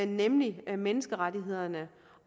nemlig menneskerettighederne